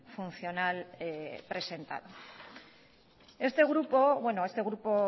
funcional presentado este grupo